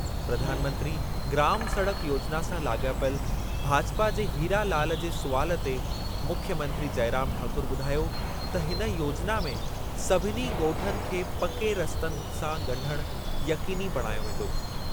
प्रधानमंत्री ग्राम सड़क योजिना सां लाॻापियल भाजपा जे हीरा लाल जे सुवालु ते मुख्यमंत्री जयराम ठाकुर ॿुधायो त हिन योजिना में सभिनी ॻोठनि खे पके रस्तनि सां ॻंढण यक़ीनी बणायो वेंदो।